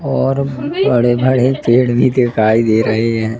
और बड़े भड़े पेड़ भी दिखाई दे रहे है।